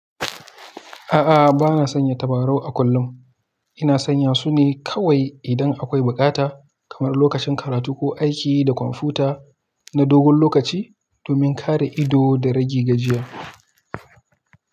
A'a, bana sanya tabarau a kullum. Ina sanya su ne kawai idan akwai bukata, kamar lokacin karatu ko aiki da kwamfuta na dogon lokaci domin kare ido da rage gajiya.